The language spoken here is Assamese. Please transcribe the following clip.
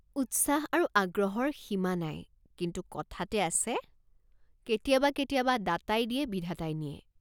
উৎসাহ আৰু আগ্ৰহৰ সীমা নাই কিন্তু কথাতে আছে কেতিয়াবা কেতিয়াবা দাতাই দিয়ে বিধাতাই নিয়ে।